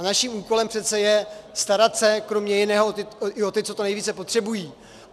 A naším úkolem přece je starat se, kromě jiného, i o ty, co to nejvíce potřebují.